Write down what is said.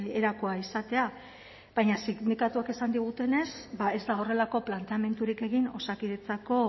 erakoa izatea baina sindikatuek esan digutenez ez dago horrelako planteamendurik egin osakidetzako